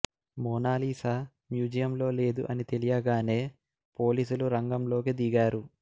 Mona Lisa museum లో లేదు అని తెలియగానే పోలీసులు రంగం లోకి దిగారు